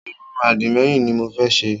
Irun àdìmẹ́yìn ni mo fẹ́ ṣe